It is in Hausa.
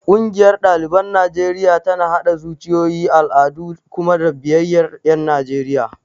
Ƙungiyar ɗaliban Najeriya tana haɗa zuciyoyi, al'adu da kuma biyayyar ƴan Najeriya.